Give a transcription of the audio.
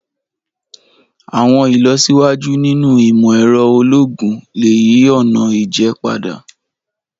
Àwọn ilọsiwaju ninu imọ-ẹrọ ologun le yi ọna ija pada.